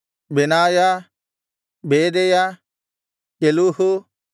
ಬೆನಾಯ ಬೇದೆಯ ಕೆಲೂಹು